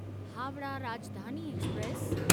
Howrah Rajdhani express